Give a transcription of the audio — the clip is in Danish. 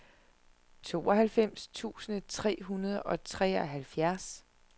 tooghalvfems tusind tre hundrede og treoghalvfjerds